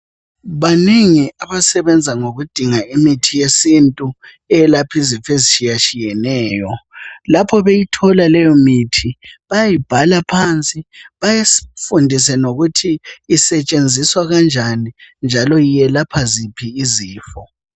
Banengi abasebenza ngokudinga imithi yesintu eyelapha izifo ezitshiyeneyo lapho beyithola leyimithi bayayibhala phansi balifundise lokuthi isetshenziswa kanjani njalo iyelapha ziphi izifo.